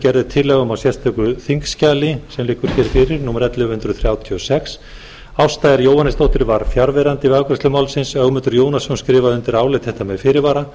er tillaga um í sérstöku þingskjali sem liggur hér fyrir númer ellefu hundruð þrjátíu og sex ásta r jóhannesdóttir var fjarverandi við afgreiðslu málsins ögmundur jónasson skrifa undir álit þetta með fyrirvara